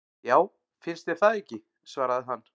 Já, finnst þér það ekki svaraði hann.